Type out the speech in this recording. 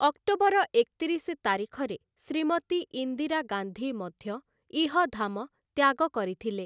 October ଏକତିରିଶ ତାରିଖରେ ଶ୍ରୀମତୀ ଇନ୍ଦିରା ଗାନ୍ଧୀ ମଧ୍ୟ ଇହଧାମ ତ୍ୟାଗ କରିଥିଲେ ।